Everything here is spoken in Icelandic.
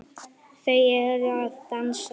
Þau eru að dansa